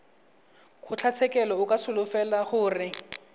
kgotlatshekelo o ka solofela gore